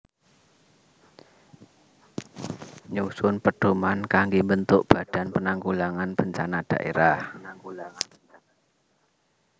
Nyusun pedhoman kanggé mbentuk Badan Penanggulangan Bencana Dhaérah